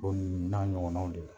O n'a ɲɔgɔnaw de la